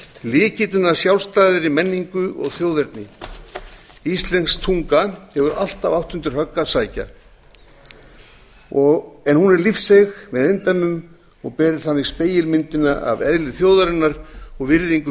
lykillinn að sjálfstæðri menningu og þjóðerni íslensk tunga hefur alltaf átt undir högg að sækja en hún er lífseig með eindæmum og ber þannig spegilmyndina af eðli þjóðarinnar og virðingu